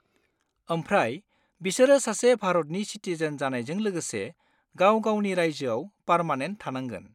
आमफ्राय बिसोर सासे भारतनि सिटिजेन जानायजों लोगोसे गाव-गावनि रायजोआव पारमानेन्ट थानांगोन।